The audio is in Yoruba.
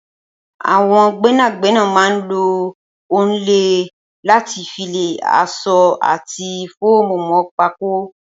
Awọn gbẹnágbẹná mà n ló òònlẹ làtí fi lẹ aṣọ àtí fómú mọ pákó